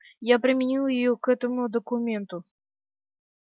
я применил её к этому документу